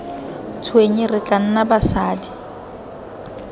tshwenye re tla nna basadi